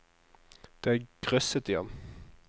Det grøsset i ham.